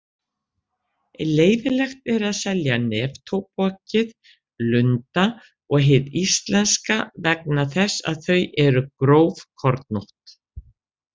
Leyfilegt er að selja neftóbakið Lunda og hið íslenska vegna þess að þau eru grófkornótt.